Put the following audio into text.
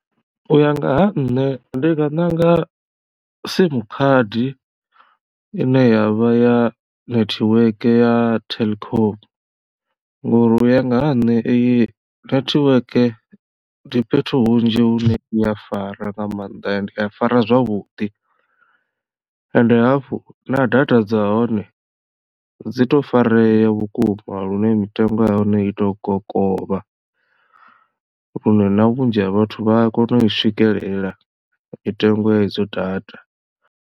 U ya nga ha nṋe ndi nga ṋanga sim khadi ine yavha ya netiweke ya telkom nga uri u ya nga ha nṋe iyi netiweke ndi fhethu hunzhi hune ya fara nga maanḓa ende ya fara zwavhuḓi ende hafhu na data dza hone dzi to fareya vhukuma lune mitengo ya hone i to kokovha lune na vhunzhi ha vhathu vha a kona u i swikelela mitengo ya idzo data.